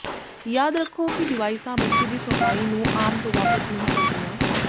ਯਾਦ ਰੱਖੋ ਕਿ ਡਿਵਾਈਸਾਂ ਬੱਚੇ ਦੀ ਸੁਣਵਾਈ ਨੂੰ ਆਮ ਤੋਂ ਵਾਪਸ ਨਹੀਂ ਕਰਦੀਆਂ